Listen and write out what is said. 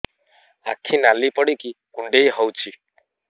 ଆଖି ନାଲି ପଡିକି କୁଣ୍ଡେଇ ହଉଛି